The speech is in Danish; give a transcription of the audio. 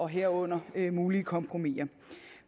herunder mulige kompromiser